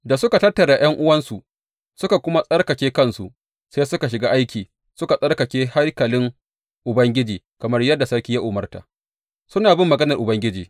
Da suka tattara ’yan’uwansu suka kuma tsarkake kansu, sai suka shiga ciki suka tsarkake haikalin Ubangiji, kamar yadda sarki ya umarta, suna bin maganar Ubangiji.